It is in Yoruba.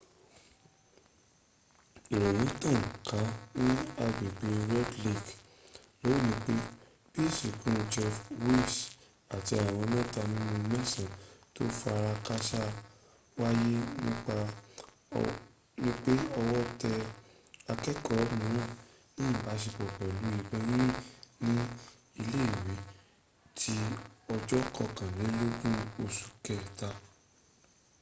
ìròyìn tàn ká ní agbègbè red lake lónìí pé bí ìsìnkú jeff weise àti àwọn mẹta nínú mẹsan tó farakásá wáyé wípé ọwọ́ tẹ akẹ́kọ̀ọ́ míràn ní ìbáṣepọ̀ pẹ̀lú ìbọn yínyìn ní ilé ìwé ti ọjọ̀ kankọkànlélógún oṣù kẹta